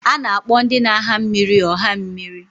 A na-akpọ ndị na-aha mmịrị ọha mmịrị.